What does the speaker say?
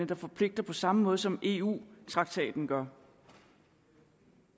der forpligter på samme måde som eu traktaten gør